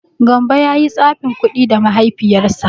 Gambo ya yi tsafin kuɗi da Mahaifiyarsa.